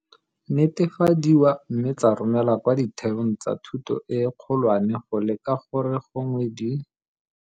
Netefadiwa mme tsa romelwa kwa ditheong tsa thuto e kgolwane go leka gore gongwe di.